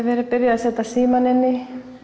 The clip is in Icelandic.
byrjað að setja símana inn í